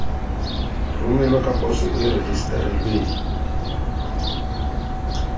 romelwa ka poso e rejistarilweng